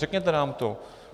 Řekněte nám to.